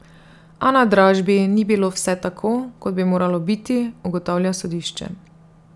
A na dražbi ni bilo vse tako, kot bi moralo biti, ugotavlja sodišče.